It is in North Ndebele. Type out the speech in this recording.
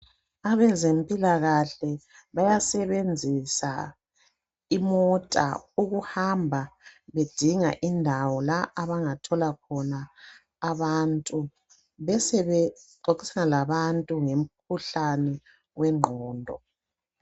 Abezempilakahle bayasebenzisa imota ukuhamba bedinga indawo la abangathola khona abantu besebexoxisana labantu ngomikhuhlane wengqondo.